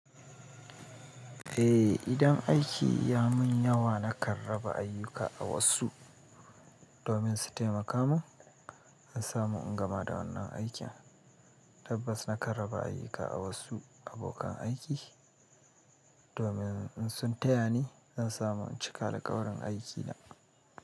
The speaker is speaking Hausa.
Eh, idan aiki ya mun yawa na kan raba ayyuka ga wasu domin su taimaka mun, in samu in gama da wannan aikin. Tabbas na karaba ayuka a wasu abokan aiki domin in sun tayani zan samu in cika da alƙawarin aiki na.